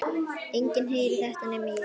Enginn heyrir þetta nema ég.